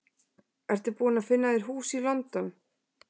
Ertu búinn að finna þér hús í London?